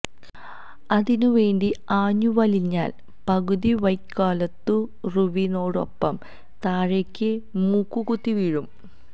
അതിനുവേണ്ടി ആഞ്ഞു വലിഞ്ഞാല് പകുതി വയ്ക്കോല്ത്തുറുവിനോടൊപ്പം താഴേക്ക് മൂക്കുകുത്തി വീഴും